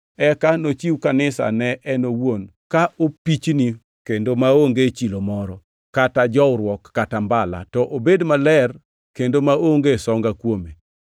eka ochiw Kanisa ne en owuon ka opichni kendo maonge chilo moro, kata jowruok, kata mbala, to obed maler kendo maonge songa kuome.